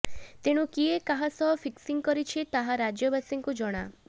ତେଣୁ କିଏ କାହା ସହ ଫିକ୍ସିଂ କରିଛି ତାହା ରାଜ୍ୟବାସୀଙ୍କୁ ଜଣା